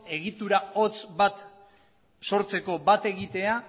egitura hotz bat sortzeko bat egitea